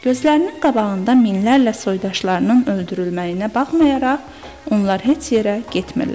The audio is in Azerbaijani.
Gözlərinin qabağında minlərlə soydaşlarının öldürülməyinə baxmayaraq, onlar heç yerə getmirlər.